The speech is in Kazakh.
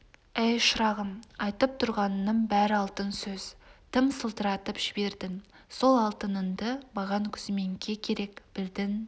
әй шырағым айтып тұрғаныңның бәрі алтын сөз тым сылдыратып жібердің сол алтыныңды маған күзменке керек білдің